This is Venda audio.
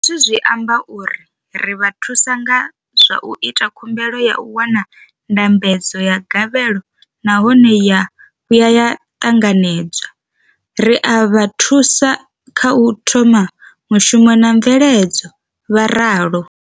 Hezwi zwi amba uri ri vha thusa nga zwa u ita khumbelo ya u wana ndambedzo ya gavhelo nahone ya vhuya ya ṱanganedzwa, ri a vha thusa kha u thoma mushumo na mveledzo, vho ralo.